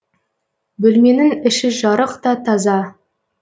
бөлменің іші жарық та таза